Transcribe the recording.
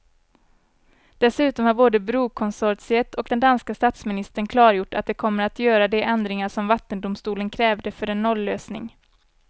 Dessutom har både brokonsortiet och den danska statsministern klargjort att de kommer att göra de ändringar som vattendomstolen krävde för en nollösning.